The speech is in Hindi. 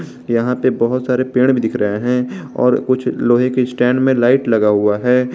यहां पे बहुत सारे पेड़ दिख रहे हैं और कुछ लोहे के स्टैंड में लाइट लगा हुआ है।